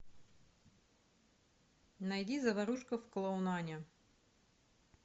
найди заварушка в клоунане